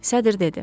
Sədr dedi.